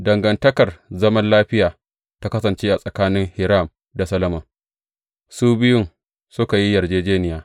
Dangantakar zaman lafiya ta kasance tsakanin Hiram da Solomon, su biyun suka yi yarjejjeniya.